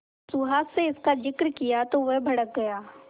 सुहास से इसका जिक्र किया तो वह भड़क गया